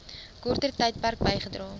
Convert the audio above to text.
korter tydperk bygedra